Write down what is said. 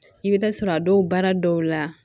I bɛ taa sɔrɔ a dɔw baara dɔw la